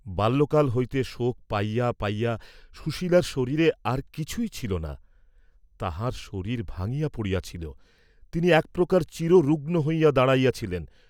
বাল্যকাল হইতে শোক পাইয়া পাইয়া সুশালার শরীরে আর কিছুই ছিল না, তাঁহার শরীর ভাঙ্গিয়া পড়িয়াছিল, তিনি এক প্রকার চিররুগ্ন হইয়া দাঁড়াইয়াছিলেন।